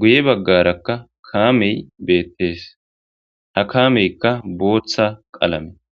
guye baggarakka kaamey beettees ha kaameykka booththa qalame